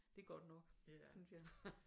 Det er godt nok synes jeg